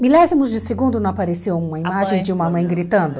Milésimos de segundo não apareceu uma imagem de uma mãe gritando?